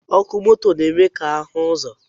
Ọkụ moto na-eme ka ahụ ụzọ